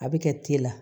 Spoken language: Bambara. A bɛ kɛ te la